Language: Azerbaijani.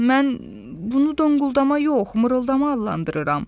Mən bunu donquldama yox, mırıltı adlandırıram.